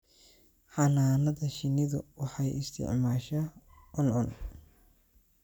Xannaanada shinnidu waxay isticmaashaa cuncun